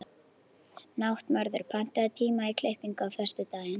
Náttmörður, pantaðu tíma í klippingu á föstudaginn.